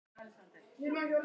Samt hefur búðin þróast mikið.